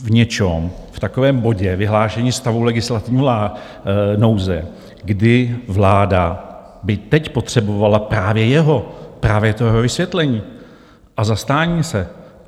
V něčem, v takovém bodě vyhlášení stavu legislativní nouze, kdy vláda by teď potřebovala právě jeho, právě to jeho vysvětlení a zastání se.